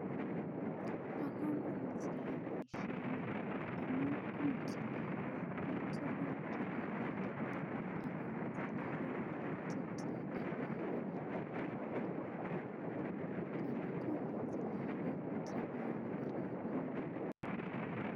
Bo kamanut keyai boishoni amu imutu lakok tugul kipagenge akoneti lakok ole kiteptoi ak lakok alak kora koneti lakok tablet nekararan